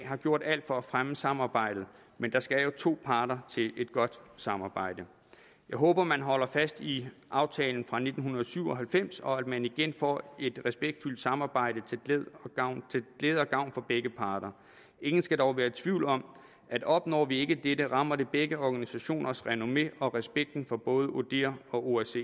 har gjort alt for at fremme samarbejdet men der skal to parter til et godt samarbejde jeg håber at man holder fast i aftalen fra nitten syv og halvfems og at man igen får et respektfuldt samarbejde til glæde og gavn for begge parter ingen skal dog være i tvivl om at opnår vi ikke dette rammer det begge organisationers renommé og respekten for både odihr og osce